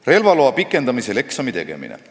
Relvaloa pikendamisel eksami tegemine.